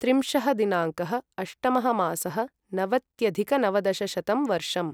त्रिंशः दिनाङ्कः अष्टमः मासः नवत्यधिकनवदशशततमं वर्षम्